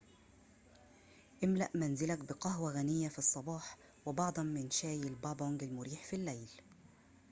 املأ منزلك بقهوة غنية في الصباح وبعضاً من شاي البابونج المريح في الليل